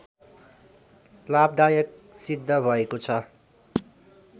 लाभदायक सिद्ध भएको छ